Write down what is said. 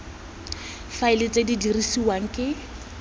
faela tse di dirisiwang ke